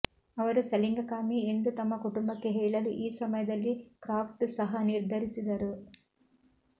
ಅವರು ಸಲಿಂಗಕಾಮಿ ಎಂದು ತಮ್ಮ ಕುಟುಂಬಕ್ಕೆ ಹೇಳಲು ಈ ಸಮಯದಲ್ಲಿ ಕ್ರಾಫ್ಟ್ ಸಹ ನಿರ್ಧರಿಸಿದರು